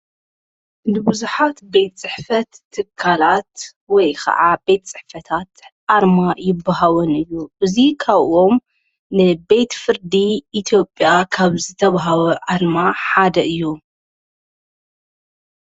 እንብዙኃት ቤት ጽሕፈት ትካላት ወይ ኸዓ ቤት ጽሕፈታት ኣርማ ይብሃወን እዩ እዙይ ኻብዎም ንቤት ፍርዲ ኢቲኦጴያ ካብ ዝተብሃወ ኣርማ ሓደ እዩ።